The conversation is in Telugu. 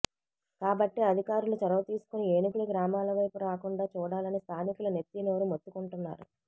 కాబట్టి అధికారులు చొరవ తీసుకుని ఏనుగులు గ్రామాల వైపు రాకుండా చూడాలని స్థానికులు నెత్తి నోరు మొత్తుకుంటున్నారు